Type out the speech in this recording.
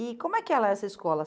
E como é que era essa escola?